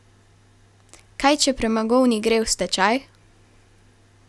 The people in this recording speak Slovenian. Kaj če premogovnik gre v stečaj?